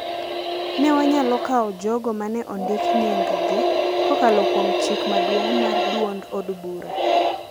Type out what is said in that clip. Ne wanyalo kawo jogo ma ne ondik nying-gi kokalo kuom chik maduong’ mar duond od bura,